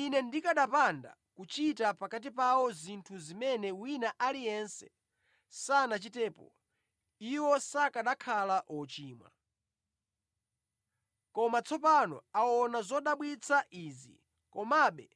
Ine ndikanapanda kuchita pakati pawo zinthu zimene wina aliyense sanachitepo, iwo sakanakhala ochimwa. Koma tsopano aona zodabwitsa izi, komabe